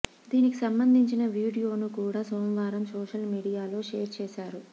దీనికి సంబంధించిన వీడియోను కూడా సోమవారం సోషల్ మీడియాలో షేర్ చేశారు